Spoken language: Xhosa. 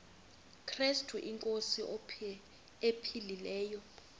krestu inkosi ephilileyo